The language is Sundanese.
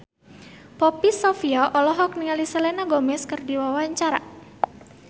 Poppy Sovia olohok ningali Selena Gomez keur diwawancara